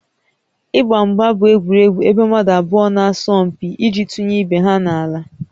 Ịgba mgba bụ egwuregwu ebe mmadụ abụọ na-asọ mpi iji tụnye ibe ha n'ala